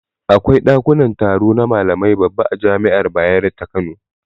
Akwai daƙunan taro na malamai babba a jami'an bayaro ta kano.